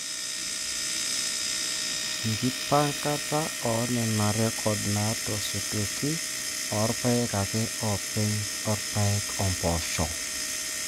Enkipankata oo Nena rrekod naatosotuoki oo rpayek ake oopeny oo rpayek o mpoosho.